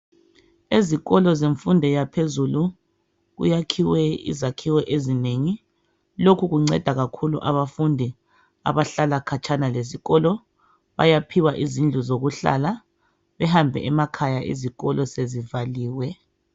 Ezikolo zemfundo yaphezulu kuyakhiwe izakhiwo ezinengi. Lokhu kunceda kakhulu abafundi abahlala katshana lesikolo. Bayaphiwa izindlu zokuhlala bahambe emakhaya izikolo sezivhaliwe.